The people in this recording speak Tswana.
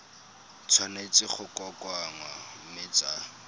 tshwanetse go kokoanngwa mme tsa